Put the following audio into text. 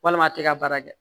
Walima a tɛ ka baara kɛ